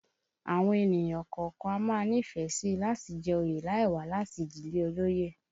Àwọn ènìyàn kọ̀ọ̀kan a máa nífẹ̀ẹ́ sí i láti jẹ oyè láì wá láti ìdílé olóyè